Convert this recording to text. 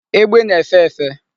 Egbe na-efe efe.